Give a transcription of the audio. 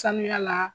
Sanuya la